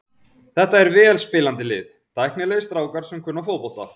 Þetta er vel spilandi lið, tæknilegir strákar sem kunna fótbolta.